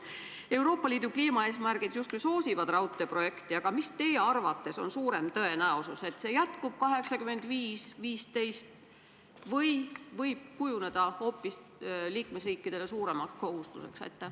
Euroopa Liidu kliimaeesmärgid justkui soosivad raudteeprojekti, aga mis on teie arvates suurema tõenäosusega: kas see, et jääb püsima jaotus 85 : 15, või see, et liikmesriikide kohustus hoopis suureneb?